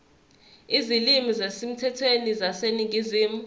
izilimi ezisemthethweni zaseningizimu